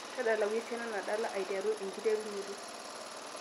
tadalayu esiana nadalae ai aiteru enkiterunoto